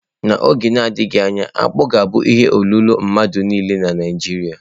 N'oge na-adịghị anya, akpu ga-abụ ihe olilo mmadụ niile na Naịjirịa.